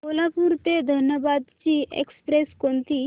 कोल्हापूर ते धनबाद ची एक्स्प्रेस कोणती